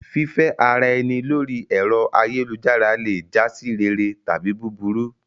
Fífẹ́ ara ẹni lórí ẹ̀rọ ayélujára le jásí rere tàbí búburú.